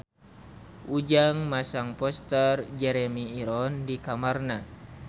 Ujang masang poster Jeremy Irons di kamarna